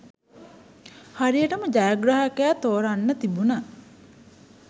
හරියටම ජයග්‍රාහකයා තෝරන්න තිබුන